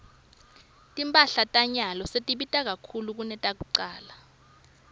timphahla tanyalo setibita kakhulu kunakucala